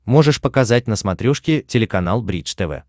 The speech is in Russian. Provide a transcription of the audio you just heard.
можешь показать на смотрешке телеканал бридж тв